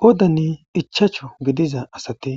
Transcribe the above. Qoodan ichachu gidiza assati